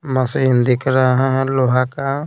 machine दिख रहा है लोहा का---